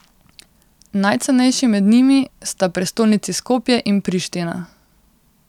Najcenejši med njimi sta prestolnici Skopje in Priština.